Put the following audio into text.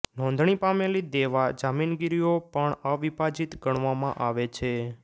નોંધણી પામેલી દેવાં જામીનગીરીઓ પણ અવિભાજિત ગણવામાં આવે છે